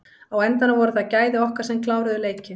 Á endanum voru það gæði okkar sem kláruðu leikinn.